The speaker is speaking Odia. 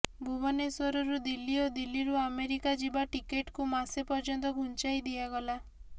ଭୁବନେଶ୍ୱରରୁ ଦିଲ୍ଲୀ ଓ ଦିଲ୍ଲୀରୁ ଆମେରିକା ଯିବା ଟିକଟ୍କୁ ମାସେ ପର୍ଯ୍ୟନ୍ତ ଘୁଞ୍ଚାଇ ଦିଆଗଲା